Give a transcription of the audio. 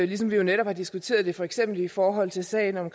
ligesom vi jo netop har diskuteret det for eksempel i forhold til sagen om